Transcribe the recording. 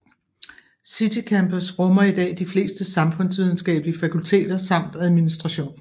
City Campus rummer i dag de fleste samfundsvidenskabelige fakulteter samt administratition